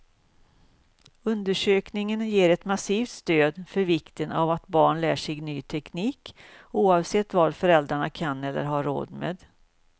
Undersökningen ger ett massivt stöd för vikten av att barn lär sig ny teknik, oavsett vad föräldrarna kan eller har råd med.